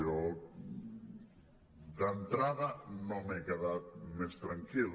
jo d’entrada no m’he quedat més tranquil